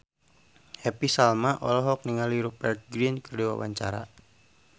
Happy Salma olohok ningali Rupert Grin keur diwawancara